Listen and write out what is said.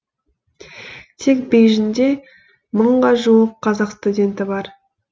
тек бейжіңде мыңға жуық қазақ студенті бар